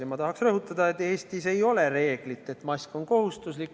Ja ma tahan rõhutada, et Eestis ei ole sellist reeglit, et mask on kohustuslik.